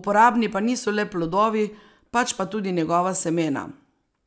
uporabni pa niso le plodovi, pač pa tudi njegova semena.